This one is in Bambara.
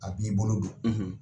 A b'i bolo don